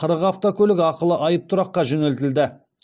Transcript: қырық автокөлік ақылы айыптұраққа жөнелтілді